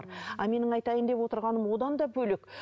ал менің айтайын деп отырғаным одан да бөлек